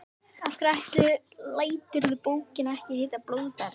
Af hverju læturðu bókina ekki heita Blóðberg?